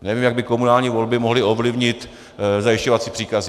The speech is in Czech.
Nevím, jak by komunální volby mohly ovlivnit zajišťovací příkazy.